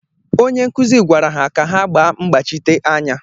Onye nkuzi gwara ha ka ha gbaa mgbachite anya.